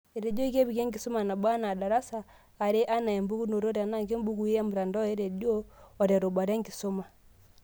Etejoki kepiki enkisuma nabo anaa darasa, are ana empukunoto, tenaa kembukui emtandao, rredio, oterubata enkisuma.